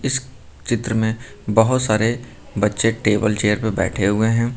इस चित्र में बहुत सारे बच्चे टेबल चेयर पर बैठे हुए हैं।